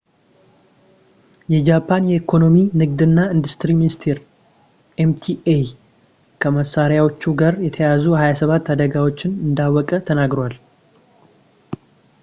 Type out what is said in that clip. የጃፓን የኢኮኖሚ፣ ንግድ እና ኢንዱስትሪ ሚኒስትር ኤምኢቲአይ ከመሳሪያዎቹ ጋር የተያያዙ 27 አደጋዎችን እንዳወቀ ተናግሯል